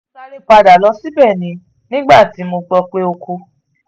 mo sáré padà lọ síbẹ̀ ni nígbà tí mo gbọ́ pé ó kú